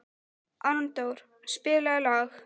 Arndór, spilaðu lag.